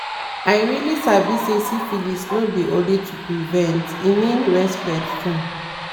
i really sabi say syphilis no be only to prevent e mean respect too